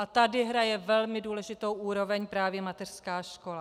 A tady hraje velmi důležitou úroveň právě mateřská škola.